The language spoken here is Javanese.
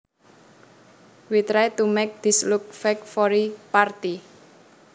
We tried to make things look fancy for the party